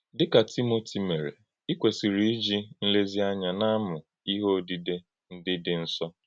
Dị́ ka Tímótì mere, ì kwesịrị íji nlèzíànyà na-amụ́ “íhe òdídè ndí dị nsọ.”